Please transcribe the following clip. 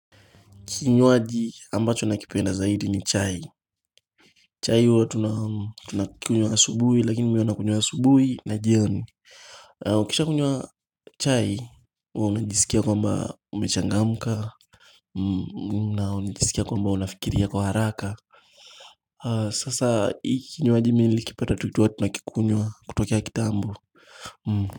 Kinywaji ambacho nakipenda zaidi ni chai chai huwa tuna tunakunywa asubuhi lakini mihuwa nakunywa asubuhi na jioni Ukisha kunywa chai huwa unajisikia kwamba umechangamka na unajisikia kwamba unafikiria kwa haraka Sasa hii kinywaji minilikipata tukiwa tunakikunywa kutokea kitambo.